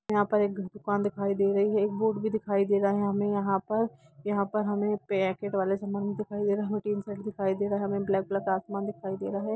यहां पर एक दुकान दिखाई दे रही है एक वोट भी दिखाई दे रहा है हमें यहां पर यहां पर हमें पैकेट वाले सामान दिखाई देना हमें ब्लैक कलर क आसमान भी दिखाई दे रहा है।